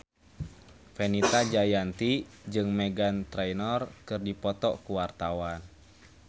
Fenita Jayanti jeung Meghan Trainor keur dipoto ku wartawan